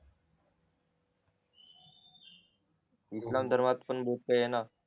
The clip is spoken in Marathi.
हो इस्लाम धर्मात खूप काही येणा